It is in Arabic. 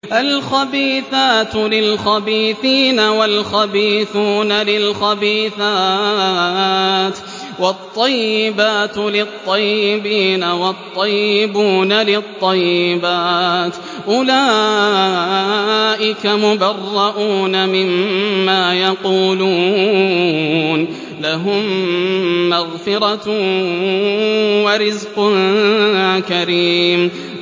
الْخَبِيثَاتُ لِلْخَبِيثِينَ وَالْخَبِيثُونَ لِلْخَبِيثَاتِ ۖ وَالطَّيِّبَاتُ لِلطَّيِّبِينَ وَالطَّيِّبُونَ لِلطَّيِّبَاتِ ۚ أُولَٰئِكَ مُبَرَّءُونَ مِمَّا يَقُولُونَ ۖ لَهُم مَّغْفِرَةٌ وَرِزْقٌ كَرِيمٌ